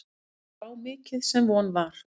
Mér brá mikið sem von var.